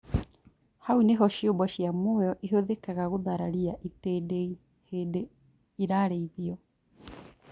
Hau nĩho ciũmbe ciĩ mũoyo ĩhũthĩkaga gũthararia itindiĩ hĩndĩ irarĩithio